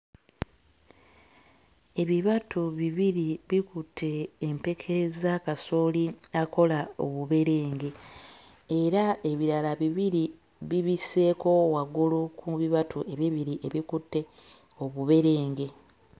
Ebibatu bibiri bikutte empeke za kasooli akola obuberenge era ebirala bibiri bibisseeko waggulu ku bibatu ebibiri ebikutte obuberenge.